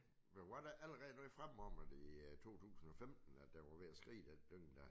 Men var der ikke allerede noget fremme om at i 2015 at den var ved at skride den dynge dér